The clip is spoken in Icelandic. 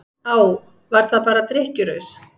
Á, var það bara drykkjuraus?